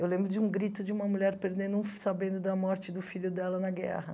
Eu lembro de um grito de uma mulher perdendo um fi sabendo da morte do filho dela na guerra.